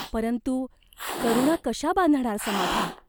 परंतु करुणा कशा बांधणार समाध्या?